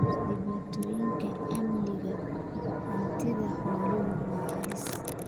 Dhibaatooyinka amniga hantida xooluhu waa halis.